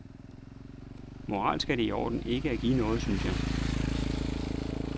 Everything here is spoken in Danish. Moralsk er det i orden ikke at give noget, synes jeg.